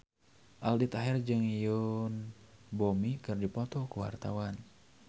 Aldi Taher jeung Yoon Bomi keur dipoto ku wartawan